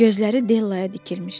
Gözləri Dellaya dikilmişdi.